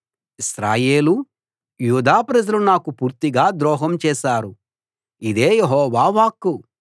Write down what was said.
ఇశ్రాయేలు యూదా ప్రజలు నాకు పూర్తిగా ద్రోహం చేశారు ఇదే యెహోవా వాక్కు